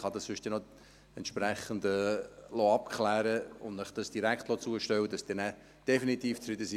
ich kann dies sonst noch entsprechend abklären lassen und es Ihnen direkt zustellen lassen, damit Sie nachher definitiv zufrieden sind.